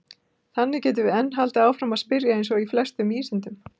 Þannig getum við enn haldið áfram að spyrja eins og í flestum vísindum!